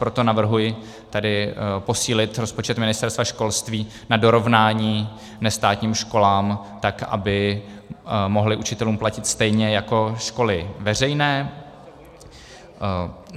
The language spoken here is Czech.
Proto navrhuji tedy posílit rozpočet Ministerstva školství na dorovnání nestátním školám, tak aby mohly učitelům platit stejně jako školy veřejné.